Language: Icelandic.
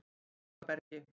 Hólabergi